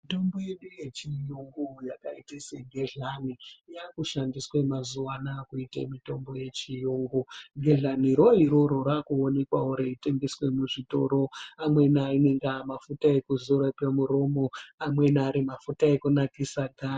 Mitombo yedu yechiyungu yakaita segedhlani yaakushandiswe mazuwa anaya kuite mitombo yechiyungu. Gedhlaniro iroro raakuonekwawo reitengeswe muzvitoro, amweni anenge aamafuta ekudzora pamuromo , amweni ari mafuta ekunakisa ganda.